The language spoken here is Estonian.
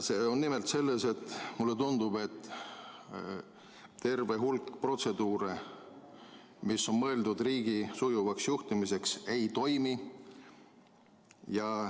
See on nimelt selles, et mulle tundub, et terve hulk protseduure, mis on mõeldud riigi sujuvaks juhtimiseks, ei toimi.